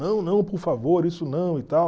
Não, não, por favor, isso não e tal.